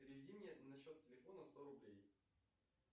переведи мне на счет телефона сто рублей